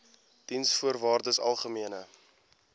diensvoorwaardesalgemene